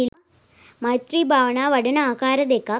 මෛත්‍රී භාවනාව වඩන ආකාර දෙකක්